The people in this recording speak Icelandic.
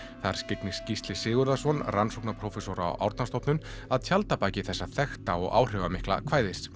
þar skyggnist Gísli Sigurðarson rannsóknarprófessor á Árnastofnun að tjaldabaki þessa þekkta og áhrifamikla kvæðis